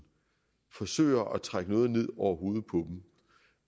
forsøger at trække noget ned over hovedet på dem